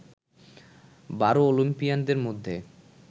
বারো অলিম্পিয়ানদের মধ্যে